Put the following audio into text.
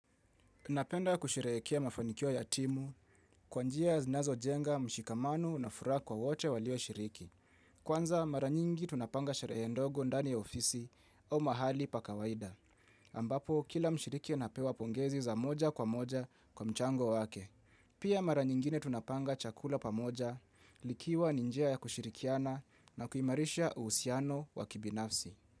Napenda kusherehekea mafanikio ya timu, kwa njia zinazo jenga mshikamano na furaha kwa wote walio shiriki. Kwanza mara nyingi tunapanga sherehe ndogo ndani ya ofisi au mahali pa kawaida. Ambapo, kila mshiriki anapewa pongezi za moja kwa moja kwa mchango wake. Pia mara nyingine tunapanga chakula pa moja, likiwa ninjia ya kushirikiana na kuimarisha uhusiano wa kibinafsi.